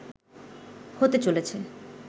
হতে চলেছে